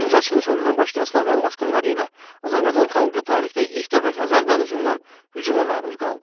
9-cu əsrin sonunda başlayan Slavyan basqınları ilə Azərbaycan xalqı tarixdə ilk dəfə Xəzər dənizindən hücuma məruz qaldı.